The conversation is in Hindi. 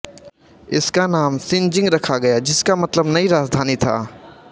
इसका नाम शिनजिंग रखा गया जिसका मतलब नई राजधानी था